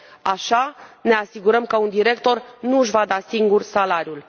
Așa ne asigurăm că un director nu își va da singur salariul.